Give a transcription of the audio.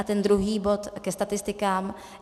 A ten druhý bod - ke statistikám.